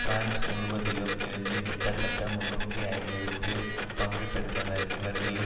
France முழுவதிலும் இருந்து கிட்டத்தட்ட முன்னூற்று ஐம்பது பேர் பங்கு பெற்றனர் இவர்களில்